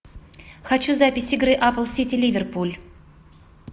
хочу запись игры апл сити ливерпуль